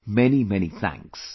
Many Many thanks